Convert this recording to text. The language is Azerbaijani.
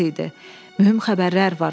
Mühüm xəbərlər var.